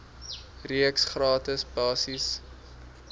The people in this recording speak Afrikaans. reeks gratis basiese